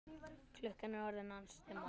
Klukkan er orðin ansi margt.